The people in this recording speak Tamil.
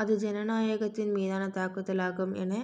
அது ஜனநாயகத்தின் மீதான தாக்குதலாகும் என